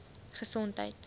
gesondheid